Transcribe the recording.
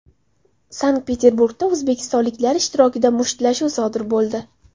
Sankt-Peterburgda o‘zbekistonliklar ishtirokida mushtlashuv sodir bo‘ldi.